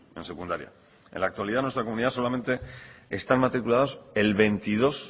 en secundaria en la actualidad en nuestra comunidad solamente están matriculados el veintidós